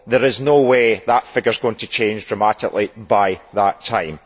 There is no way that figure is going to change dramatically by that time.